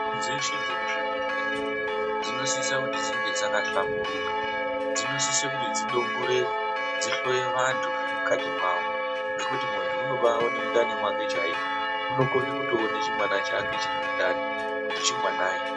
Michini dzekuchibhedhlera dzinosisa kuti dzinge dzakahlamburuka, dzinosisa kuti dzidongorere dzihloye vantu zvemukati mwawo zvekuti muntu unobaaone mukati chaimo. unokone kutoone chimwana chake chiri mundani kuti chimwanai.